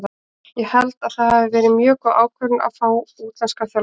Ég held að það hafi verið mjög góð ákvörðun að fá útlenskan þjálfara.